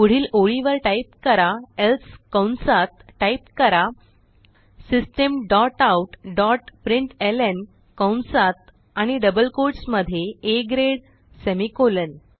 पुढील ओळीवर टाईप करा एल्से कंसात टाईप करा system dot out dot println कंसात आणि डबल कोट्स मध्ये आ ग्रेड सेमिकोलॉन